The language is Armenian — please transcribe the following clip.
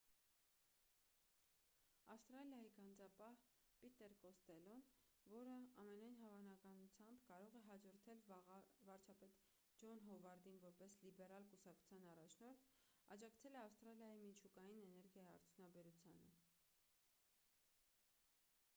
ավստրալիայի գանձապահ պիտեր կոստելլոն որը ամենայն հավանականությամբ կարող է հաջորդել վարչապետ ջոն հովարդին որպես լիբերալ կուսակցության առաջնորդ աջակցել է ավստրալիայի միջուկային էներգիայի արդյունաբերությանը